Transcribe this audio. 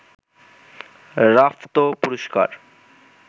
Rafto পুরস্কার